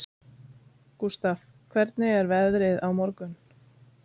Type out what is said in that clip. Gústaf, hvernig er veðrið á morgun?